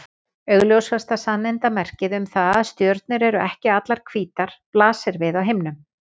Augljósasta sannindamerkið um það að stjörnur eru ekki allar hvítar blasir við á himninum.